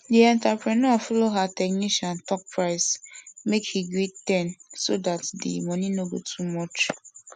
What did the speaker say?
di entrepreneur follow her technician talk price make he gree ten so dat di money no go too much